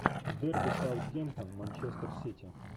дерби саутгемптон манчестер сити